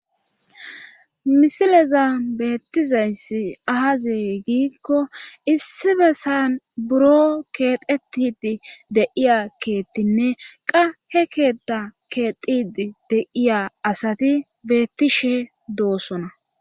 Misileza beettizayssi aazi giikko issi bessan buro keexetidi deiya keettinne qa he keetta keexidi deiya asati beettishe doossona